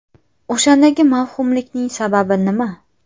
O‘shandagi mavhumlikning sababi nima?